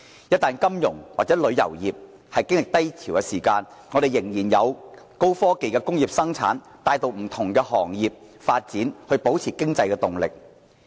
一旦金融或旅遊業經歷低潮，我們仍然有高科技的工業生產帶動不同行業發展，保持經濟動力。